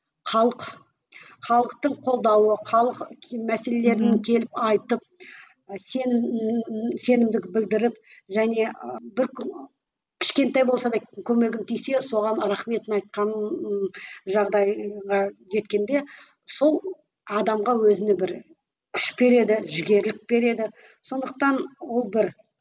халық халықтың қолдауы халық мәселелерін келіп айтып сенімділік білдіріп және бір кішкентай болса да көмегім тисе соған рахметін айтқанын жағдайға жеткенде сол адамға өзіне бір күш береді жігерлік береді сондықтан ол бір